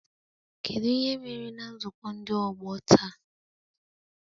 Kedu ihe mere na nzukọ ndị ọgbọ taa?